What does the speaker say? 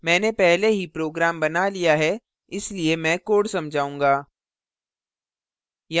मैंने पहले ही program बना लिया है इसलिए मैं code समझाऊँगा